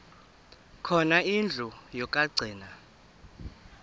khona indlu yokagcina